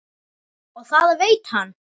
Og það veit hann.